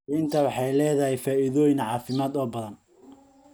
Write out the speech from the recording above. Liinta waxay leedahay faa'iidooyin caafimaad oo badan.